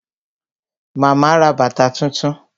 Màmá ra bàtà tuntun